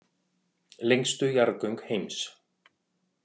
Lengstu jarðgöng heims